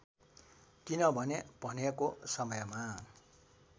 किनभने भनेको समयमा